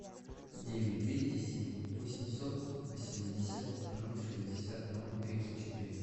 девять двести семь восемьсот восемьдесят ноль шестьдесят ноль тридцать четыре